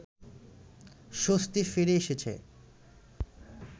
স্বস্তি ফিরে এসেছে